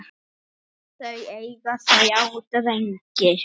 Þau eiga þrjá drengi.